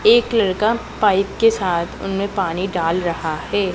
एक लड़का पाइप के साथ उनमें पानी डाल रहा है।